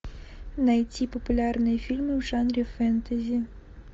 найти популярные фильмы в жанре фэнтези